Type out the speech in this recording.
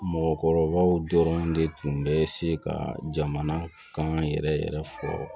Mɔgɔkɔrɔbaw dɔrɔn de tun bɛ se ka jamana kan yɛrɛ yɛrɛ fɔ